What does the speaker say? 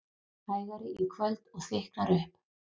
Hægari í kvöld og þykknar upp